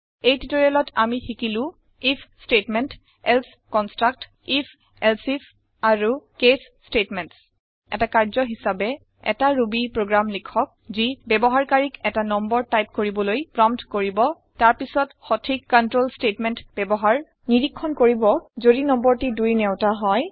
এই টিওটৰিয়েলত আমি শিকিলো if statement else construct if elsif আৰু কেচ ষ্টেটমেণ্টছ এটা কাৰ্য্য হিচাপে 160 এটা ৰুবি প্ৰগ্ৰেম লিখক যি ব্যৱহাৰকাৰীক এটা নম্বৰ টাইপ কৰিবলৈ প্ৰম্পট কৰিব তাৰ পাছত সথিক control ষ্টেটমেণ্ট ব্যৱহাৰ নিৰীক্ষণ কৰিব যদি নম্বৰটি ২ৰ নেউটা হয়